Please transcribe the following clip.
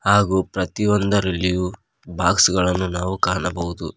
ಹಾಗೂ ಪ್ರತಿಯೊಂದರಲ್ಲಿಯೂ ಬಾಕ್ಸ್ ಗಳನ್ನು ನಾವು ಕಾಣಬಹುದು.